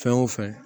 Fɛn o fɛn